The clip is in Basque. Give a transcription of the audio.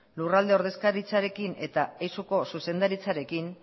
lurralde ordezkaritzarekin eta eizuko zuzendaritzarekin